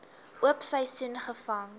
oop seisoen gevang